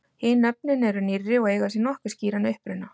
hin nöfnin eru nýrri og eiga sér nokkuð skýran uppruna